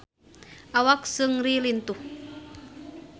Awak Seungri lintuh